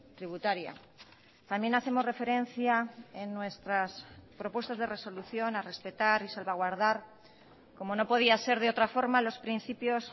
tributaria también hacemos referencia en nuestras propuestas de resolución a respetar y salvaguardar como no podía ser de otra forma los principios